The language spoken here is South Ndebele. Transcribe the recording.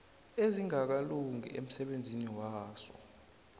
ezingakalungi emsebenzini waso